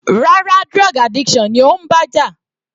Rárá, drug addiction ni ó ń bá jà.